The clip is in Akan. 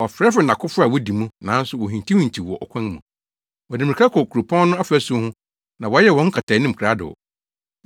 Ɔfrɛfrɛɛ nʼakofo a wodi mu, nanso wohintihintiw wɔ ɔkwan mu. Wɔde mmirika kɔ kuropɔn no afasu ho; na wɔyɛ wɔn nkataanim krado.